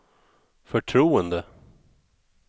förtroende